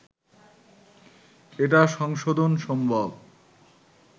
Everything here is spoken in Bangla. এটা সংশোধন সম্ভব